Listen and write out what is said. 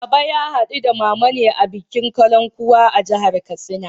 Baba ya haɗu da Mama ne a bikin Kalankuwa a jihar Katsina.